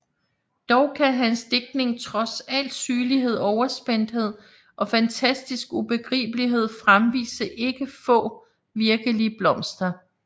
Dog kan hans digtning trods al sygelig overspændthed og fantastisk ubegribelighed fremvise ikke få virkelige blomster